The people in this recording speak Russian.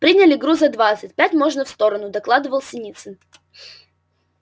приняли груза двадцать пять можно в сторону докладывал синицын